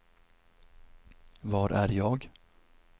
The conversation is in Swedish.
var är jag